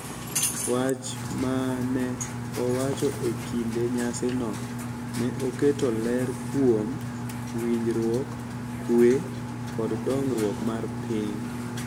Wach ma ne owacho e kinde nyasino ne oketo ler kuom winjruok, kwe, kod dongruok mar piny,